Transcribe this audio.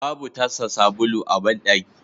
Babu tasa sabulu a bandaki